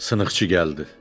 Sınıxçı gəldi.